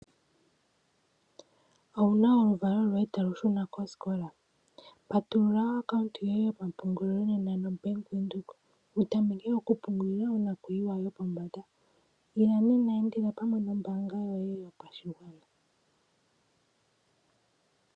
Owuna oluvalo lwoye talu shuna kosikola? Patulula ombaanga yoye yopampungulilo pamwe noBank Windhoek, wutameke okupungulila onakuyiwa yopombanda. Ila nena, endela pamwe nombaanga yoye yopashigwana.